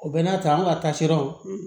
U bɛ n'a ta an ka tasiraw